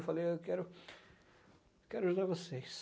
Eu falei, eu quero eu quero ajudar vocês.